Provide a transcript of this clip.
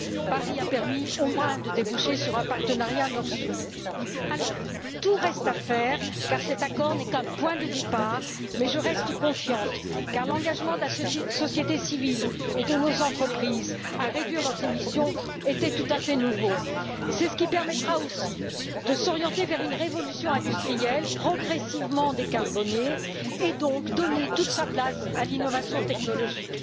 Paris aura au moins permis de déboucher sur un partenariat Nord Sud. C'est vrai, tout reste à faire car cet accord n'est qu'un point de départ. Mais je reste confiante car l'engagement de la société civile et de nos entreprises à réduire leurs émissions est tout à fait nouveau. C'est ce qui permettra aussi de s'orienter vers une révolution industrielle progressivement décarbonée et donc de donner toute sa place à l'innovation technologique.